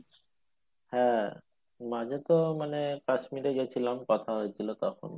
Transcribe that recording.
হ্যাঁ মাঝে তো মানে কাশ্মীরে গেছিলাম কথা হয়ে ছিল তখন